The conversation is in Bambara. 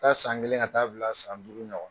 Ka taa san kelen ka taa bila san duuru ɲɔgɔn.